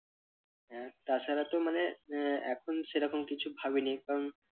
হ্যাঁ তাছাড়া তো মানে আহ এখন সেরকম কিছু ভাবিনি কারণ